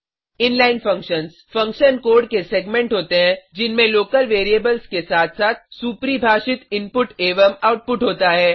inline functions function code के segment होते हैं जिनमें लोकल वैरिएबल्स के साथ साथ सुपरिभाषित इनपुट एवं आउटपुट होता है